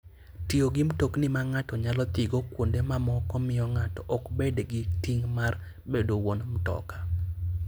Tiyo gi mtokni ma ng'ato nyalo dhigo kuonde mamoko miyo ng'ato ok bed gi ting' mar bedo wuon mtoka.